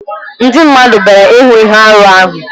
Ndị mmadụ bịara ịhụ ihe arụ ahụ.